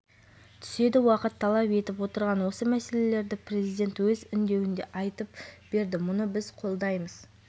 сайлаудағы бәсекені сайлаушылар белсенділігін арттырады азаматтардың саяси белсенділігін жоғарылатады заң шығарушы парламент жауапкершілігін де нығайта